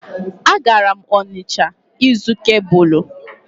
A gara m Onịsha ịzụ kebụlụ